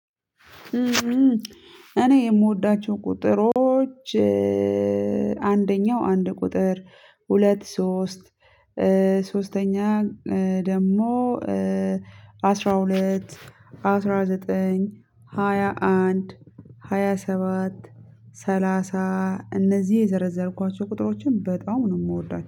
እኔ የምወዳቸው ቁጥሮች አንደኛው አንድ ቁጥር ሁለት ሶስት። ሶስተኛ ደግሞ አስራ ሁለት። አስራ ዘጠኝ ሃያ አንድ ሃያ ሰባት። ሰላሳ እነዚህ የዘረዘርኳቸው ቁጥሮችን በጣም ነው የምወዳቸው